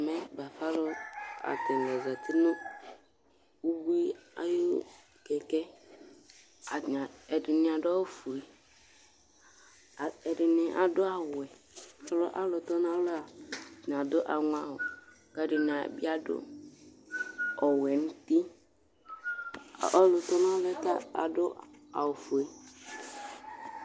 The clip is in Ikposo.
ɛmɛ bafa alo atani zati no ubui ayi kɛkɛ atani ɛdini ado awu fue ɛdini ado awu wɛ ko alu tɔ n'alɔɛ atani ado aŋɔ awu k'ɛdini bi ado ɔwɛ n'uti ɔlu tɔ n'alɔɛ ta ado awu fue